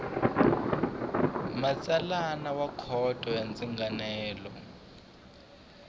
matsalana wa khoto ya ndzingano